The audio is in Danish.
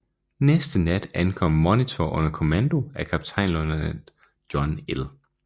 Næste nat ankom Monitor under kommando af kaptajnløjtnant John L